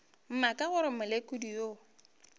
mma ka gore molekodi yo